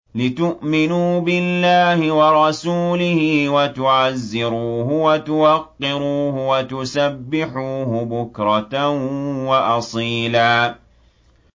لِّتُؤْمِنُوا بِاللَّهِ وَرَسُولِهِ وَتُعَزِّرُوهُ وَتُوَقِّرُوهُ وَتُسَبِّحُوهُ بُكْرَةً وَأَصِيلًا